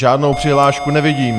Žádnou přihlášku nevidím.